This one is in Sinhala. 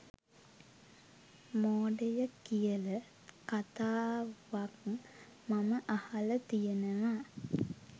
මෝඩය කියල කතාවක් මම අහල තියෙනවා